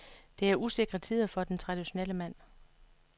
Det er usikre tider for den traditionelle mand.